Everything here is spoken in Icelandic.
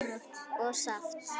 og saft.